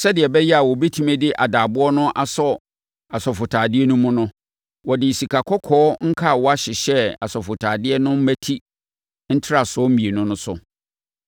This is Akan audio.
Sɛdeɛ ɛbɛyɛ a wɔbɛtumi de adaaboɔ no asɔ asɔfotadeɛ no mu no, wɔde sikakɔkɔɔ nkawa hyehyɛɛ asɔfotadeɛ no mmati ntaresoɔ mmienu no so.